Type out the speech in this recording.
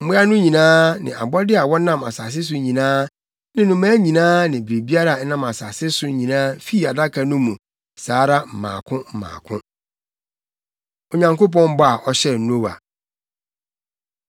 Mmoa no nyinaa ne abɔde a wɔnam asase so nyinaa ne nnomaa nyinaa ne biribiara a ɛnam asase so nyinaa fii Adaka no mu saa ara mmaako mmaako. Onyankopɔn Bɔ A Ɔhyɛɛ Noa